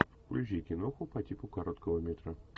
включи киноху по типу короткого метра